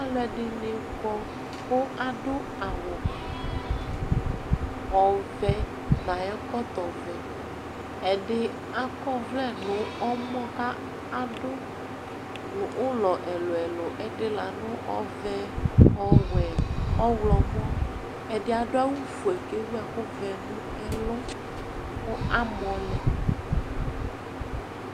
Aluɛdini kɔ ku adu awu ɔvɛ nu ayu ɛkɔtɔ ɔvɛ ɛdi akɔ ɔvlɛ nu ɔmɔ kadu ulɔ ɛlu ɛlu la nu ɔvɛ ɔwɛ ɔɣlomɔ ɛdi adu awu fue kewu ɛku vɛ nu ɛlu ku amɔlɛ